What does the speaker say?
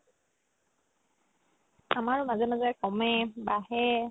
আমাৰ মাজে মাজে কমে বাঢ়ে